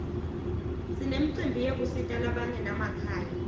sinemcimbi yekusita labangena makhaya